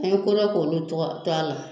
An ye kodɔn k' olu to a la